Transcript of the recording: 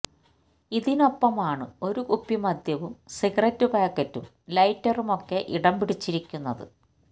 ഇതിനൊപ്പമാണ് ഒരു കുപ്പി മദ്യവും സിഗരറ്റ് പാക്കറ്റും ലൈറ്ററുമൊക്കെ ഇടം പിടിച്ചിരിക്കുന്നത്